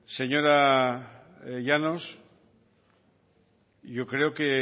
señora llanos yo creo que